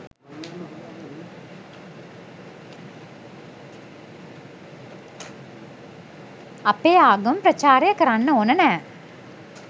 අපේ ආගම ප්‍රචාරය කරන්න ඕන නෑ.